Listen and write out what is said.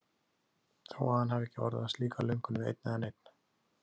Þó að hann hafi ekki orðað slíka löngun við einn eða neinn.